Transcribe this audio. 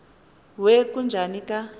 we kujuni ka